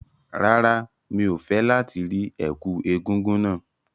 Rárá, mi ò fẹ́ láti rí ẹ̀kú egúngún náà.